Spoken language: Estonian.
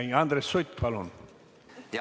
Ei, Andres Sutt, palun!